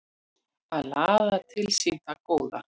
Að laða til sín það góða